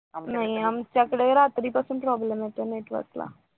नाही आमच्याकडे रात्रीपासून problem होता network ला